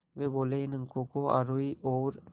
वे बोले इन अंकों को आरोही और